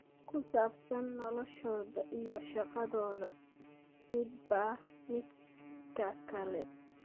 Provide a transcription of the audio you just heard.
Ku saabsan noloshooda iyo shaqadooda midba midka kale.